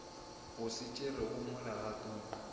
o se tšerego mo legatong